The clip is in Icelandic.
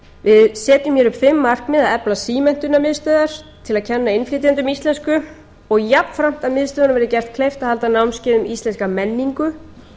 við setjum hér upp fimm markmið fyrstu að efla símenntunarmiðstöðvar til að kenna innflytjendum íslensku og jafnframt að miðstöðvunum verði gert kleift að halda námskeið um íslenska menningu